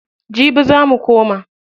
Jibi za mu koma.